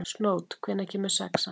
Snót, hvenær kemur sexan?